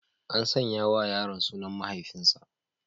An sanya wa yaron sunan mahaifinsa.